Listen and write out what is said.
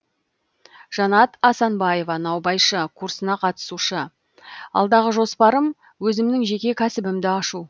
жанат асанбаева наубайшы курсына қатысушы алдағы жоспарым өзімнің жеке кәсібімді ашу